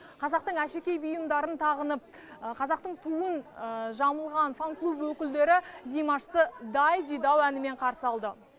қазақтың әшекей бұйымдарын тағынып қазақтың туын жамылған фан клуб өкілдері димашты дайдидау әнімен қарсы алды